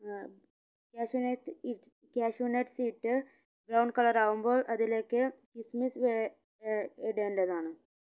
ഏർ cashew nut ഇട് cashew nut ഇട്ട് brown colour ആവുമ്പോൾ അതിലേക്ക് kismis ഏർ ഏർ ഇടേണ്ടതാണ്